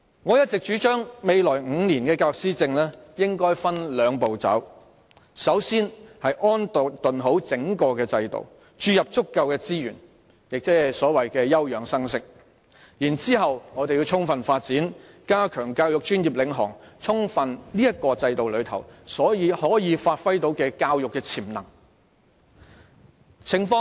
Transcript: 我一直主張未來5年的教育施政應分兩步走，首先要安頓整個制度，注入足夠資源，即所謂休養生息，然後我們要充分發展，加強教育專業領航，透過這個制度充分發揮教育潛能。